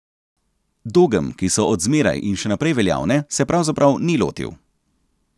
Dogem, ki so od zmeraj in še naprej veljavne, se pravzaprav ni lotil.